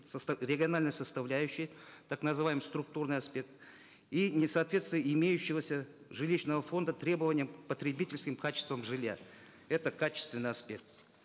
региональной составляющей так называемый структурный аспект и несоответствие имеющегося жилищного фонда требованиям потребительским качествам жилья это качественный аспект